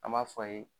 An b'a fɔ a ye